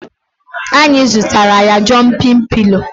Anyị zụtara ya Jọmpị pịlo